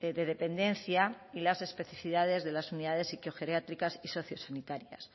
de dependencia y las especificidades de las unidades psicogeriátricas y sociosanitarias